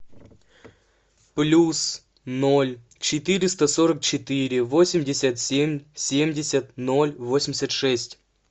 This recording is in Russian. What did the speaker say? плюс ноль четыреста сорок четыре восемьдесят семь семьдесят ноль восемьдесят шесть